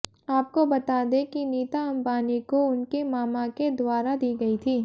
आपको बता दें कि नीता अंबानी को उनके मामा के द्वारा दी गई थी